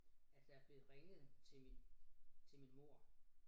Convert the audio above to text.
At der blevet ringet til min til min mor